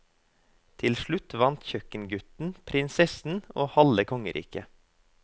Til slutt vant kjøkkengutten prinsessen og halve kongeriket.